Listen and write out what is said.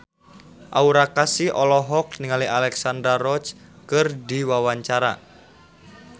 Aura Kasih olohok ningali Alexandra Roach keur diwawancara